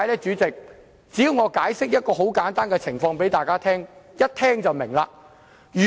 主席，只要我向大家解釋一個簡單情況，大家便會明白。